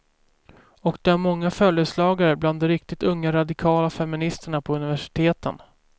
Och de har många följeslagare bland de riktigt unga radikala feministerna på universiteten.